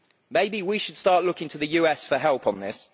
the wheel? Maybe we should start looking to the US for help